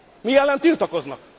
Mi ellen tiltakoznak?